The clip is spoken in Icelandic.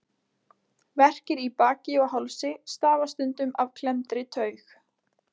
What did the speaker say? Verkir í baki og hálsi stafa stundum af klemmdri taug.